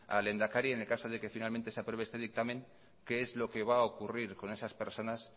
al lehendakari en el caso de que finalmente se apruebe este dictamen qué es lo que va a ocurrir con esas personas